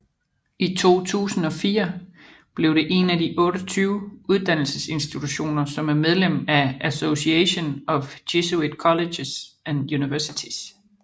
I 2004 blev det én af de 28 uddannelsesinstitutioner som er medlem af Association of Jesuit Colleges and Universities